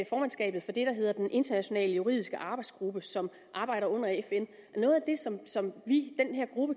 formandskabet for det der hedder den internationale juridiske arbejdsgruppe som arbejder under fn noget af det som som vi